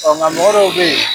Ɔ n ga mɔgɔ dow bɛ yen.